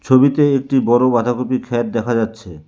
ছবিতে একটি বড় বাঁধাকপির ক্ষেত দেখা যাচ্ছে।